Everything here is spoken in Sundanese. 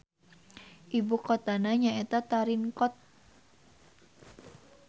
Ibu kotana nyaeta Tarinkot.